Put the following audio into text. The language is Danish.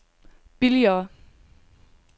billigere